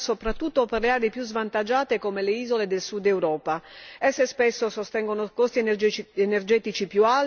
Esse spesso sostengono costi energetici più alti, che concorrono a mantenere una situazione economica problematica.